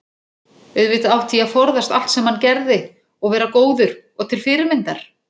auðvitað átti ég að forðast allt sem hann gerði og vera góður og til fyrirmyndar.